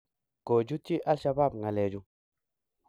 kochutyiii alshabaab ngalechu